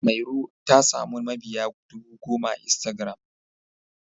Mairo ta samu mabiya dubu goma a Instagiram.